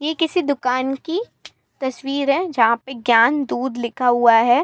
यह किसी दुकान की तस्वीर है जहां पे ज्ञान दूध लिखा हुआ है।